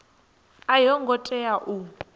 a yo ngo tea u